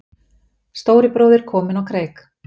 Stóri bróðir kominn á kreik